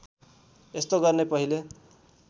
यस्तो गर्ने पहिले